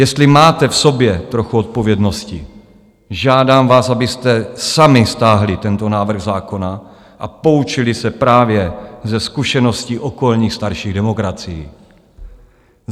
Jestli máte v sobě trochu odpovědnosti, žádám vás, abyste sami stáhli tento návrh zákona a poučili se právě ze zkušeností okolních starších demokracií.